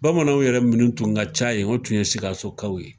Bamananw yɛrɛ minnu tun ka ca yen o tun ye sikasokaw ye.